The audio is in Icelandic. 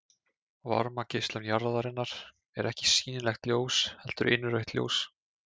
Varmageislun jarðarinnar er ekki sýnilegt ljós heldur innrautt ljós.